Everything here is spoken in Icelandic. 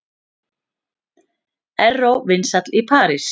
Erró vinsæll í París